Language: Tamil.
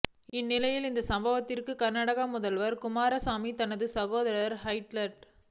இந்நிலையில் இந்த சம்பவத்திற்கு கர்நாடக முதல்வர் குமாரசாமி தனது சகோதரர் ஹெச்டி